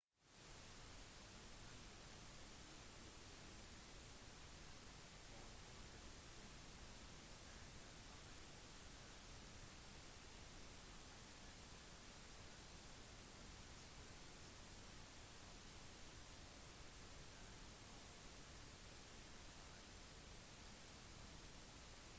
du trenger kanskje ikke visum for korte besøk som turist eller i forbindelse med forretninger i enkelte land men som utenlandsstudent må du som regel oppholde deg der i lengre tid enn en turist